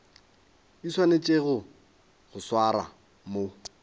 di swanetšego go swarwa mo